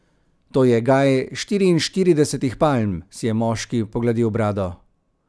To je gaj štiriinštiridesetih palm, si je moški pogladil brado.